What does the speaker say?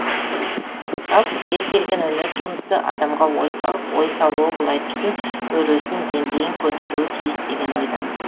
жалпы кез келген өнер туындысы адамға ой салып ой салуы былай тұрсын өресін деңгейін көтеруі тиіс деген ойдамын